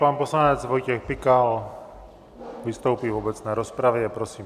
Pan poslanec Vojtěch Pikal vystoupí v obecné rozpravě, prosím.